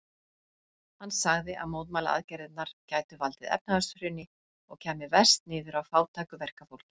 Hann sagði að mótmælaaðgerðirnar gætu valdið efnahagshruni og kæmu verst niður á fátæku verkafólki.